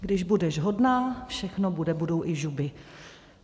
Když budeš hodná, všechno bude, budou i žuby...